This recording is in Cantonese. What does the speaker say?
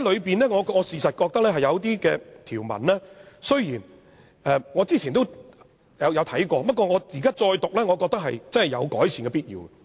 但是，事實上我覺得當中有條文，雖然我之前也有看過，但我現在再讀，覺得有改善的必要。